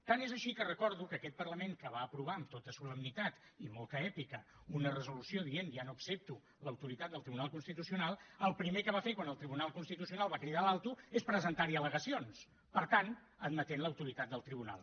tant és així que recordo que aquest parlament que va aprovar amb tota solemnitat i molta èpica una resolució dient ja no accepto l’autoritat del tribunal constitucional el primer que va fer quan el tribunal constitucional va cridar l’alto és presentar hi al·legacions per tant admetent l’autoritat del tribunal